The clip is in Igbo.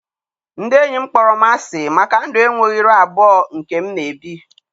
Ndị enyi m kpọrọ m asị maka ndụ enweghị iru abụọ nke m na-ebi.